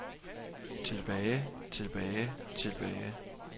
tilbage tilbage tilbage